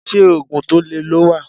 Ṣé Ógùn tó lè lọ wà?.